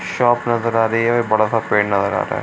Shop नजर आ रही है अभी बड़ा-सा पेड़ नजर आ रहा है।